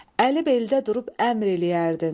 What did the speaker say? Əli beldə durub əmr eləyərdin.